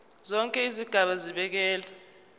zonke izigaba zibekelwe